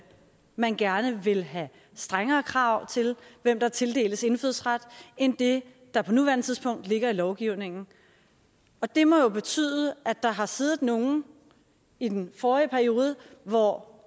man gerne vil have strengere krav til hvem der tildeles indfødsret end det der på nuværende tidspunkt ligger i lovgivningen det må jo betyde at der har siddet nogle i den forrige periode hvor